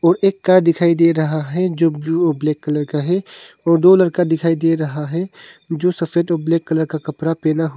और एक कार दिखाई दे रहा है जो ब्लू और ब्लैक कलर का है और दो लड़का दिखाई दे रहा है जो सफेद और ब्लैक कलर का कपड़ा पहना हुआ--